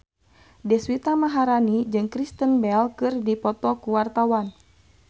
Deswita Maharani jeung Kristen Bell keur dipoto ku wartawan